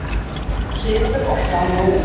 SÉRA SIGURÐUR: Og hvað nú?